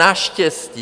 Naštěstí.